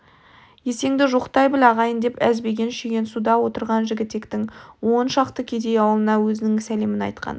есенді жоқтай біл ағайын деп әзбеген шүйгінсуда отырған жігітектің он шақты кедей аулына өзінің сәлемін айтқан